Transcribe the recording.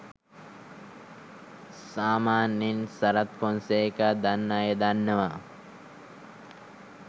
සාමාන්‍යයෙන් සරත් ෆොන්සේකා දන්න අය දන්නවා